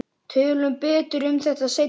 Tölum betur um þetta seinna.